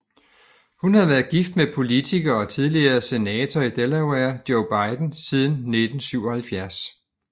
Hun har været gift med politiker og tidligere senator i Delaware Joe Biden siden 1977